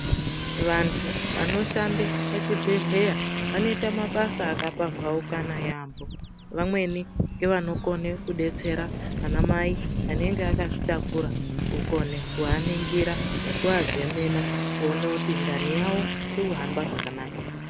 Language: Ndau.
Vantu vanoshande pachibhedhleya vaneita mabasa akapambaukana yambo. Vamweni, ngevanokone kudetsera anamai anenge akazvitakura kukone kuaningira nekuazemena kuene kuti ndani yawo kuhamba zvakanaka ere.